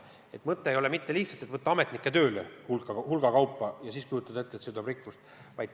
Mõte ei ole lihtsalt ametnikke hulga kaupa juurde võtta ja ette kujutada, et see toob rikkust.